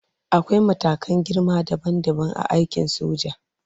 Akwai matakan girma dabam dabam a aikin soja.